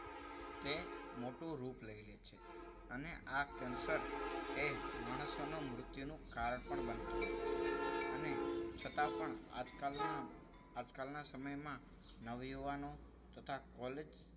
તે મોટું રૂપ લઈ લે છે. અને આ કેન્સર માણસોના મૃત્યુનું કારણ પણ બનતું હોય છે. અને છતાં પણ આજકાલના આજકાલના સમયમાં નવયુવાનો તથા college